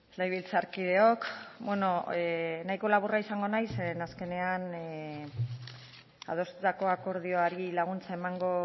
legebiltzarkideok nahiko laburra izango naiz ze azkenean adostutako akordioari laguntza emango